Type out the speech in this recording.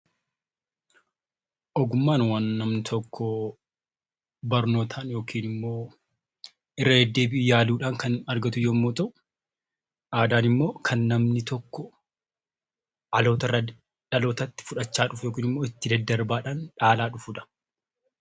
Ogummaan waan namni tokko barnootaan yookaan immoo irra deddeebiin yaaluun kan argatu yoo ta'u, aadaan immoo dhaloota irraa dhalootatti fudhachaa dhufu itti daddarbaadhaan dhaalaa dhufu jechuudha.